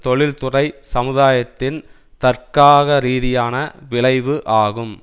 தொழில்துறைச் சமுதாயத்தின் தர்க்காகரீதியான விளைவு ஆகும்